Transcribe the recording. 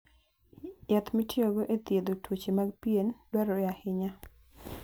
Yath mitiyogo e thiedho tuoche mag pien, dwarore ahinya.